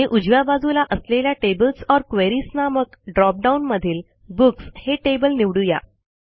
आणि उजव्या बाजूला असलेल्या टेबल्स ओर क्वेरीज नामक ड्रॉप डाउन मधील बुक्स हे टेबल निवडू या